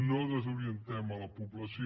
no desorientem la població